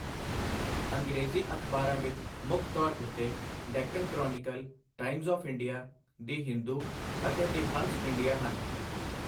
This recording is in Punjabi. ਅੰਗਰੇਜ਼ੀ ਅਖ਼ਬਾਰਾਂ ਵਿੱਚ ਮੁੱਖ ਤੌਰ ਉੱਤੇ Deccan chronicle, times of India, the Hindu ਅਤੇ ਦੀ ਹੰਸ ਇੰਡੀਆ ਹਨ।